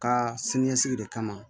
Ka siniɲɛsigi de kama